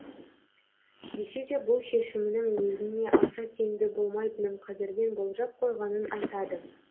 десе де бұл шешімінің өзіне аса тиімді болмайтынын қазірден болжап қойғанын айтады